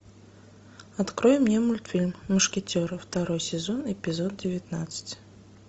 открой мне мультфильм мушкетеры второй сезон эпизод девятнадцать